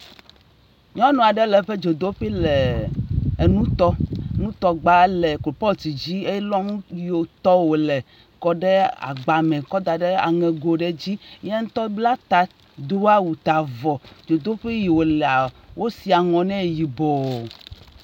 Nyɔnu aɖe le eƒe dzodoƒui le nu tom. Nutɔgba le coalpot dzi elɔ nu yiwo tɔm wole kɔ ɖe agbe me kɔ da ɖe aŋego ɖe dzi. Ya ŋutɔ bla ta do awu ta avɔ. Dzoduƒui yi wolea, wosi aŋɔ ne yibɔ.